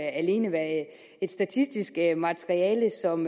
alene være et statistisk materiale som